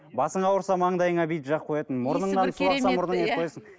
басың ауырса маңдайыңа бүйтіп жағып қоятын мұрныңнан су ақса